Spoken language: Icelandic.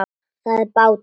Það er bátur.